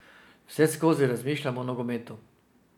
Vseskozi razmišlja o nogometu.